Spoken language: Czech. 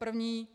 První.